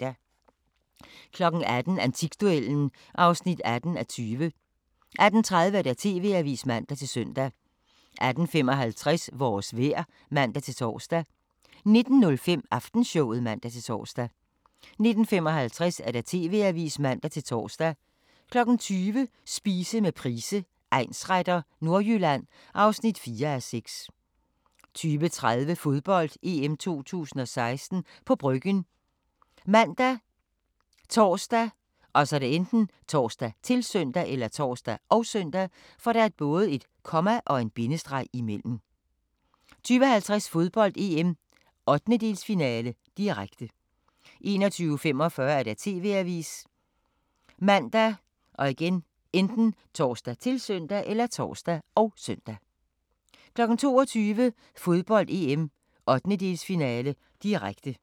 18:00: Antikduellen (18:20) 18:30: TV-avisen (man-søn) 18:55: Vores vejr (man-tor) 19:05: Aftenshowet (man-tor) 19:55: TV-avisen (man-tor) 20:00: Spise med Price, egnsretter: Nordjylland (4:6) 20:30: Fodbold: EM 2016 – på Bryggen ( man, tor, -søn) 20:50: Fodbold: EM - 1/8-finale, direkte 21:45: TV-avisen ( man, tor, -søn) 22:00: Fodbold: EM - 1/8-finale, direkte